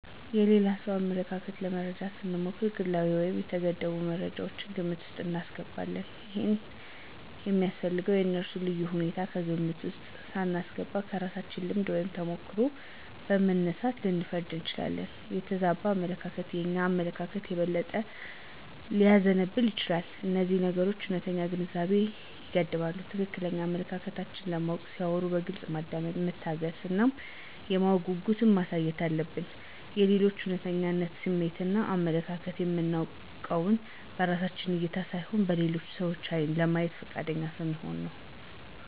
የሌላ ሰውን አመለካከት ለመረዳት ስሞክር ግላዊ ወይም የተገደቡ መረጃወችን ግምት ውስጥ አስገባለሁ። ይሄም ያስፈለገው የእነሱን ልዩ ሁኔታ ከግምት ውስጥ ሳናስገባ ከራሳችን ልምድ ወይም ተሞክሮ በመነሳት ልንፈርድ እንችላለን። የተዛባ አመለካከት የእኛን አመለካከት የበለጠ ሊያዛባው ይችላል። እነዚህ ነገሮች እውነተኛ ግንዛቤን ይገድባሉ። ትክክለኛ አመለካከታቸውን ለማወቅ ሲያወሩ በግልጽ ማዳመጥ፣ መታገስ እና የማወቅ ጉጉት ማሳየት አለብን። የሌሎችን እውነተኛ ስሜትን እና አመለካከትን የምናውቀውን በራሳችን እይታ ሳይሆን በሌላ ሰው ዓይን ለማየት ፈቃደኛ ስንሆን ነው።